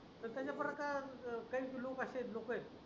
स्वतःच्या प्रकार अं काही लोक असे आहेत लोक आहे.